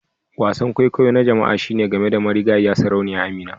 Wasan kwaikwayo na jama'a shine game da marigayiya Sarauniya Amina